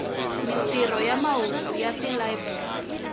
mintirho ya mahungu na tilayiburari